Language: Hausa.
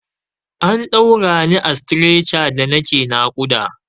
An ɗaura ni a stretcher da nake naƙuda.